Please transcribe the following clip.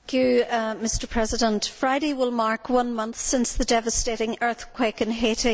Mr President, Friday will mark one month since the devastating earthquake in Haiti.